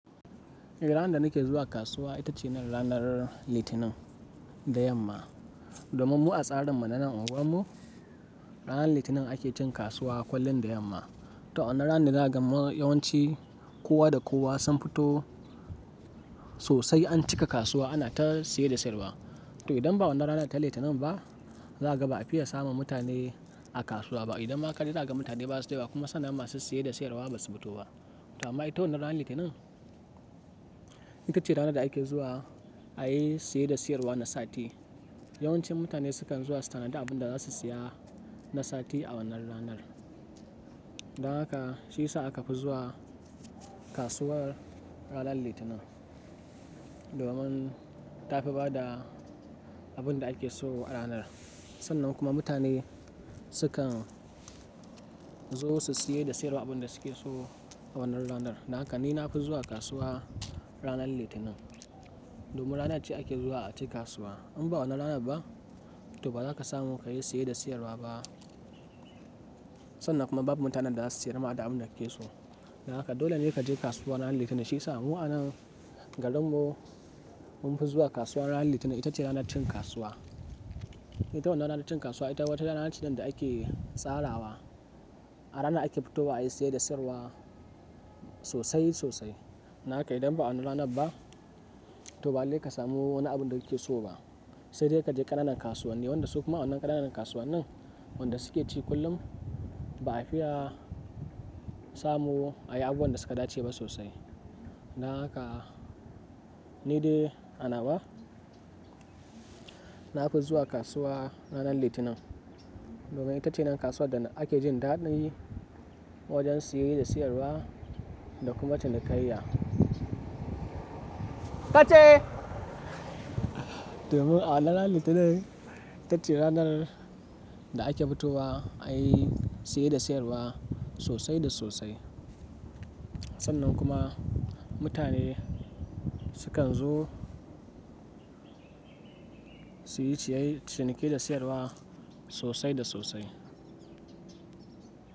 Eh, ranar da nake zuwa kasuwa ita ce ranar Litinin da yamma. Domin mu a tsarin mu na nan unguwar mu ranar Litinin ake cin kasuwa kullum da yamma. To a wannan ranan ne za kaga yawanci kowa da kowa sun fito sosai an cika kasuwa ana ta siye da sayarwa. To idan ba wannan ranar ta Litinin ba, zaka ba a fiye samun mutane a kasuwa ba. Idan ma ka dawo zaga mutane basu da yawa kuma sannan masu siye da sayarwa basu fito ba. To amma ita wannan ranar Litinin ita ce ranar da ake zuwa ayi siye da sayarwa na sati. Yawancin mutane sukan zuwa su tanadi abinda zasu siya na sati a wannan ranar. Don haka shiyasa akafi zuwa kasuwar ranar Litinin. Domin tafi bada abinda ake so a ranar. Sannan kuma mutane sukan zo su siye da sayarwa abin da suke so a wannan ranar. Don haka ni nafi zuwa kasuwa ranar litinin domin rana ce ake zuwa a ci kasuwa. Inba wannan ranar ba to ba za ka samu kayi siye da sayarwa ba. Sannan kuma babu mutanen da zasu siyar ma da abinda kake so. Don haka dole ne kaje kasuwa ranar Litinin. Shiyasa mu a nan garin mu munfi zuwa kasuwa ranar Litinin ita ce ranar cin kasuwa. Ita wannan ranar cin kasuwa ita wata rana ce da ake tsarawa. A rana ake fitowa ayi siye da sayarwa sosai sosai. Don haka idan ba a wannan rana ba to ba lalle ka samu wani abinda kake so ba. Sai dai kaje ƙananan kasuwanni wanda su kuma awannan ƙananan kasuwannin wanda suke ci kullum ba a fiya samu ayi abubuwan da suka dace ba sosai. Don haka ni dai a nawa nafi zuwa kasuwa ranar Litinin. Domin ita ce nan kasuwar da ake jin daɗi wajen siye da sayarwa da kuma cinikayya. Tace! Domin a wannan Litinin ita ce ranar da ake fitowa ayi siye da sayarwa sosai da sosai. Sannan kuma mutane sukan zo suyi ciy ciniki da sayarwa sosai da sosai.